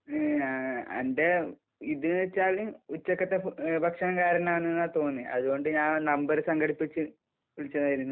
ങ്... അന്റെ ഇത് ന് വച്ചാല് ഉച്ചക്കത്തെ ഭക്ഷണം കാരണമാണെന്നാണ് തോന്നിയെ. അതുകൊണ്ട് ഞാൻ നമ്പര് സംഘടിപ്പിച്ച് വിളിച്ചതായിരുന്നു.